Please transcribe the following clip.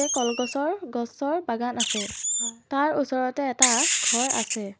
কলগছৰ গছৰ বাগান আছে তাৰ ওচৰতে এটা ঘৰ আছে।